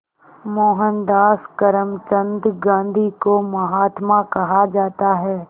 मोहनदास करमचंद गांधी को महात्मा कहा जाता है